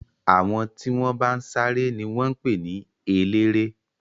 Àwọn tí wọ́n bá ń sáré ni wọ́n ń pè ní eléré.